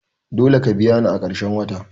Dole ka biya ni a karshen wata!